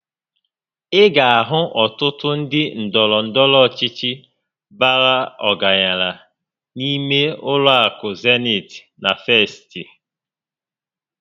Ị ga ahụ ọtụtụ ndị ndọrọ ndọrọ ọchịchị bàrà ọgaranya n'ime ụlọ akụ Zenit na Festị